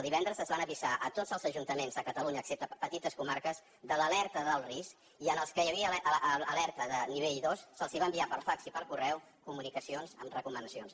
divendres es van avisar tots els ajuntaments de catalunya excepte a petites comarques de l’alerta d’alt risc i als que hi havia alerta de nivell dos se’ls va enviar per fax i per correu comunicacions amb recomanacions